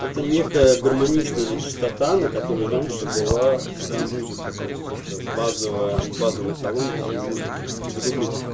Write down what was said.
это некая гармоничная чистота на которой раньше была вся музыка то есть это базовый базовый талон всей музыки загуглите